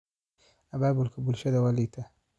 Abaabulka bulshadu waa liitaa.